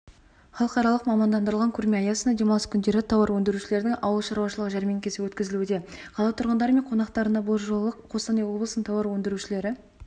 халықаралық мамандандырылған көрме аясында демалыс күндері тауар өндірушілердің ауыл шаруашылығы жәрмеңкесі өткізілуде қала тұрғындары мен қонақтарына бұл жолы қостанай облысының тауар өндірушілері